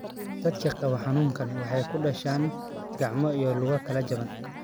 Dadka qaba xanuunkaan waxay ku dhashaan gacmo iyo lugo kala jaban.